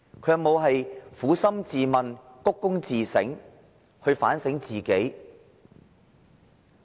他有否撫心自問，反躬自省，反省自己呢？